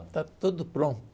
Está tudo